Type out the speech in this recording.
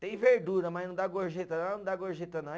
Tem verdura, mas não dá gorjeta não, não dá gorjeta não.